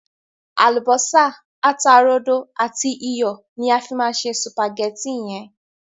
Àlùbọ́sá, ata rodo àti iyọ̀ ni a má fi se sùpàgétì yẹn.